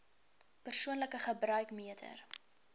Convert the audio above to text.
persoonlike gebruik meter